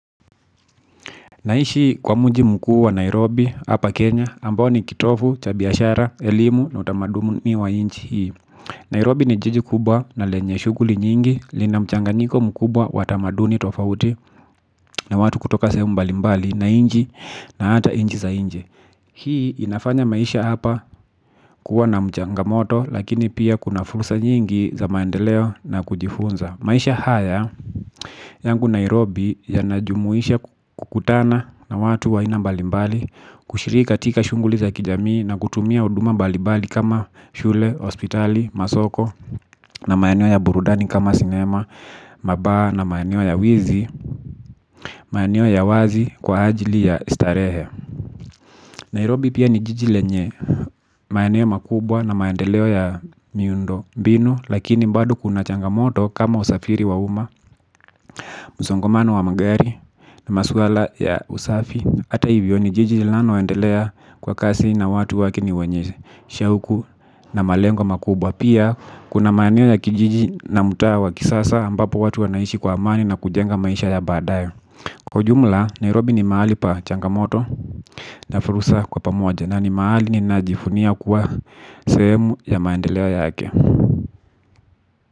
Naishi kwa mji mkuu wa Nairobi hapa Kenya ambao ni kitovu cha biashara elimu na utamaduni wa nchi hii. Nairobi ni jiji kubwa na lenye shuguli nyingi lina mchanganyiko mkubwa wa tamaduni tofauti na watu kutoka sehemu mbalimbali ya nchi na hata nchi za nje hii inafanya maisha hapa kuwa na changamoto lakini pia kuna fursa nyingi za maendeleo na kujifunza maisha haya. Yangu Nairobi yanajumuisha kukutana na watu wa aina balimbali kushiriki katika shunguli za kijamii na kutumia uduma mbalibali kama shule, hospitali, masoko na mayeneo ya burudani kama sinema, maba na mayenio ya wizi, mayenio ya wazi kwa ajili ya starehe. Nairobi pia ni jiji lenye maeneo makubwa na maendeleo ya miundo mbinu lakini mbado kuna changamoto kama usafiri wa uma, msongamano wa magari na maswala ya usafi ata hivyo ni jiji lilano aendelea kwa kasi na watu wake ni wenye shauku na malengo makubwa. Pia kuna maeneo ya kijiji na mtaa wa kisasa ambapo watu wanaishi kwa amani na kujenga maisha ya badaye. Kwa jumla, Nairobi ni mahali pa changamoto na fursa kwa pamoja na ni mahali ni najivunia kuwa sehemu ya maendeleo yake.